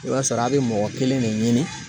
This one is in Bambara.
I b'a sɔrɔ a be mɔgɔ kelen de ɲini